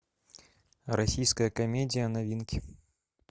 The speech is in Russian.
российская комедия новинки